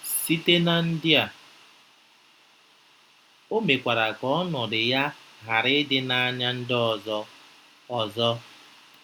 Site na ndị a, o mekwara ka ọnọdụ ya ghara ịdị n'anya ndị ọzọ. ọzọ.